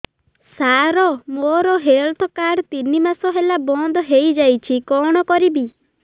ସାର ମୋର health card ତିନି ମାସ ହେଲା ବନ୍ଦ ହେଇଯାଇଛି କଣ କରିବି